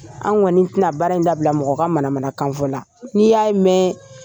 An kɔni tɛna baara in dabila mɔgɔ manamanakan fɔ la. N'i y'a ye mɛn